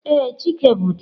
Ee, chike bu di ya.